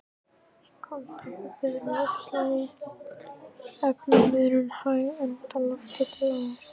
Í kaldtempruðu loftslagi er efnaveðrunin hæg enda lofthiti lágur.